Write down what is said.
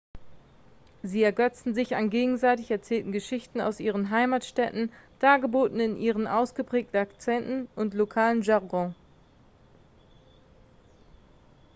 sie ergötzen sich an gegenseitig erzählten geschichten aus ihren heimatstädten dargeboten in ihren ausgeprägten akzenten und lokalen jargons